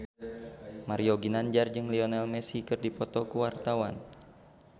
Mario Ginanjar jeung Lionel Messi keur dipoto ku wartawan